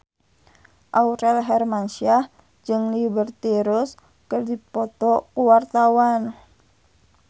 Aurel Hermansyah jeung Liberty Ross keur dipoto ku wartawan